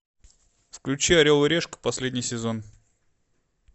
включи орел и решка последний сезон